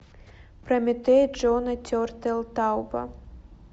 прометей джона тертелтауба